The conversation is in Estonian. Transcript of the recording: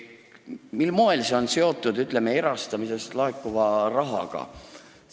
Mil moel see on seotud erastamisest laekuva rahaga?